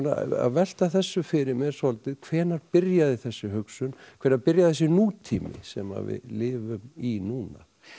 að velta þessu fyrir mér svolítið hvenær byrjaði þessi hugsun hvenær byrjaði þessi nútími sem við lifum í núna